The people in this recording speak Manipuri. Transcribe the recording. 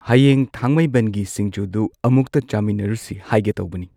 ꯍꯌꯦꯡ ꯊꯥꯡꯃꯩꯕꯟꯒꯤ ꯁꯤꯡꯖꯨꯗꯨ ꯑꯃꯨꯛꯇ ꯆꯥꯃꯤꯟꯅꯔꯨꯁꯤ ꯍꯥꯏꯒꯦ ꯇꯧꯕꯅꯤ꯫